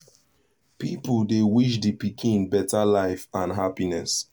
people dey wish the pikin better life and happiness